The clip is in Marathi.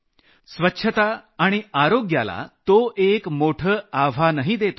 स्वच्छता आणि आरोग्याला तो एक मोठं आव्हानही देत होता